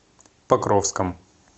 покровском